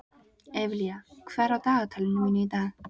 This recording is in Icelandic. Evelía, hvað er á dagatalinu mínu í dag?